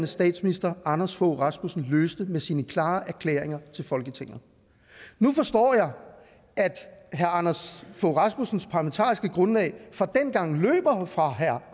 statsminister anders fogh rasmussen løste med sine klare erklæringer til folketinget nu forstår jeg at herre anders fogh rasmussens parlamentariske grundlag fra dengang løber fra herre